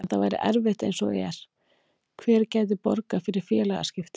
En það væri erfitt eins og er, hver gæti borgað fyrir félagaskiptin?